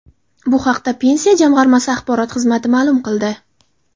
Bu haqda Pensiya jamg‘armasi axborot xizmati ma’lum qildi .